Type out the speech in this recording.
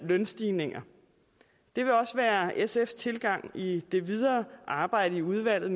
lønstigninger det vil også være sfs tilgang i det videre arbejde i udvalget